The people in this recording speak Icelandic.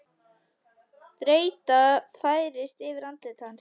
Þreyta færist yfir andlit hans.